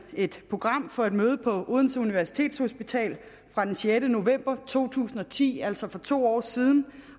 et program for et møde på odense universitetshospital fra den sjette november to tusind og ti altså for to år siden